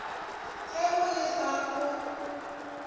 ge o le fa o